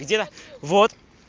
где вот